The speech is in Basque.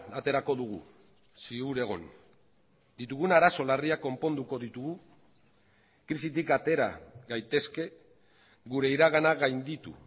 aterako dugu ziur egon ditugun arazo larriak konponduko ditugu krisitik atera gaitezke gure iragana gainditu